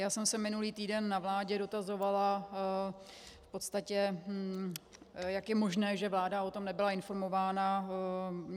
Já jsem se minulý týden na vládě dotazovala v podstatě, jak je možné, že vláda o tom nebyla informována.